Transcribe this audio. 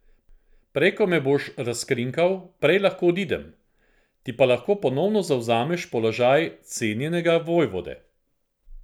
Prej ko me boš razkrinkal, prej lahko odidem, ti pa lahko ponovno zavzameš položaj cenjenega vojvode.